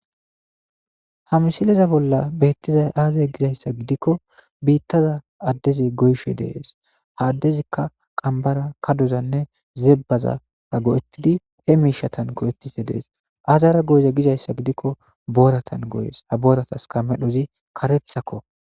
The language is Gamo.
ha misileza bolla beettizay aazey gizayssa gidikko biittaza addezi goyshe dees haaddezikka qambara kadozanne zebbazara go7ettidi he miishatan go7ettife dees azara goyza gizayssa gidikko booratan goyes abooratas kamedhozi karethakko